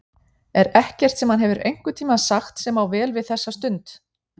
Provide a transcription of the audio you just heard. Er ekkert sem hann hefur einhvern tíma sagt sem á vel við þessa stund?